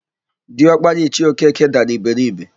Diọkpara Ichie Okeke dara iberibe.